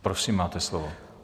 Prosím, máte slovo.